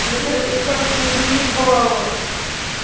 блять да как ты заебала